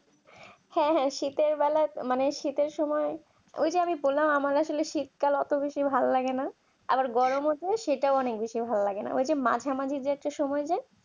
হ্যাঁ হ্যাঁ শীতের বেলায় মানে শীতের সময় এই যে আমি বললাম আমার আসলে শীতকাল অত বেশি ভালো লাগে না আবার গরম মুখো সেটাও অনেক বেশি ভালো লাগে না এই যে মাঝে মাঝে যে সময়টা